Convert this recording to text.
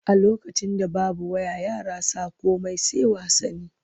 A lokacin da babu waya yara sa komai sai wasanni.